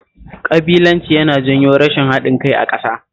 Ƙabilanci yana janyo rashin haɗin kai a ƙasa